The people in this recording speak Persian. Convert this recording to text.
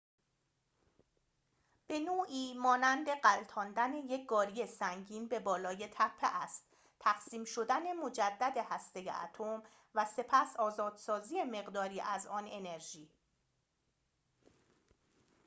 به‌نوعی مانند غلتاندن یک گاری سنگین به بالای تپه است تقسیم شدن مجدد هسته اتم و سپس آزادسازی مقداری از آن انرژی